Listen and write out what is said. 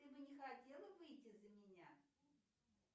ты бы не хотела выйти за меня